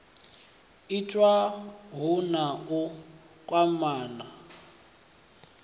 itiwa hu na u kwamana